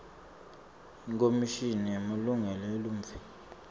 ikhomishini yemalungelo eluntfu